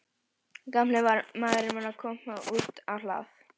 Gamli maðurinn var kominn út á hlað.